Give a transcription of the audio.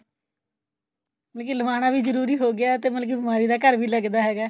ਮਤਲਬ ਕਿ ਲਵਾਨਾ ਵੀ ਜਰੂਰੀ ਹੋ ਗਿਆ ਤੇ ਮਤਲਬ ਕਿ ਬਿਮਾਰੀ ਦਾ ਘਰ ਵੀ ਲੱਗਦਾ ਹੈਗਾ